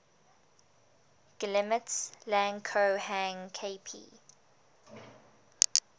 guillemets lang ko hang kp